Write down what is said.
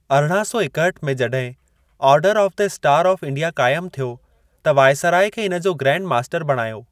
अरणा सौ एकहठि में जॾहिं Order of the Star of India काइमु थियो, त वायसराय खे इन जो ग्रैंड मास्टर बणायो।